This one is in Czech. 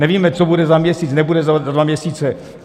Nevíme, co bude za měsíc, nebude za dva měsíce.